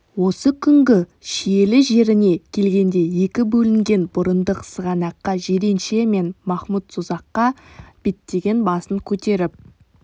осы күнгі шиелі жеріне келгенде екі бөлінген бұрындық сығанаққа жиренше мен махмұд созаққа беттеген басын көтеріп